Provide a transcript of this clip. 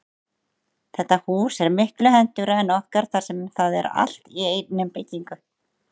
Þetta hús er miklu hentugra en okkar þar sem það er allt í einni byggingu.